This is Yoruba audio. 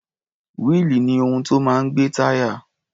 Wíìlì ni ohun tó máa ń gbé táyà.